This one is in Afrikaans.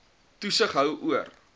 toesig hou oor